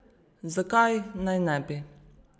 Zakaj naj ne bi?